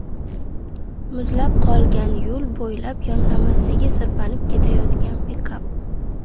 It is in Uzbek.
Muzlab qolgan yo‘l bo‘ylab yonlamasiga sirpanib ketayotgan pikap.